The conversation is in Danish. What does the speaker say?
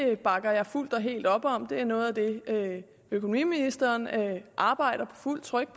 det bakker jeg fuldt og helt op om det er noget af det økonomiministeren arbejder på fuldt tryk